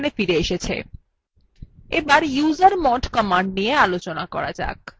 এবার usermod command নিয়ে আলোচনা করা যাক